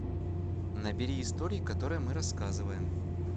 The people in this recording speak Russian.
набери истории которые мы рассказываем